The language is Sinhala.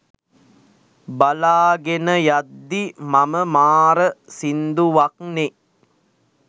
බලාගෙන යද්දි මම මාර සින්දුවක්නෙ